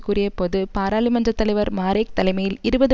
கூறியபோது பாராளுமன்ற தலைவர் மாரேக் தலைமையில் இருபது